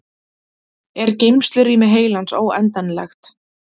Er geymslurými heilans óendanlegt?